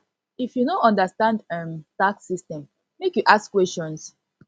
if you no understand um tax system make you ask questions